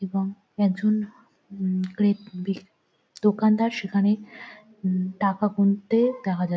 এবং একজন গ্রেট বেক দোকানদার সেখানে টাকা গুনতে দেখা যা--